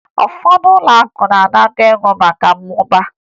Ụfọdụ ụlọakụ na-anakọ ego maka mmụba